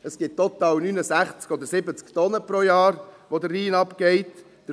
Es gibt total 69 oder 70 Tonnen pro Jahr, die den Rhein hinuntergehen.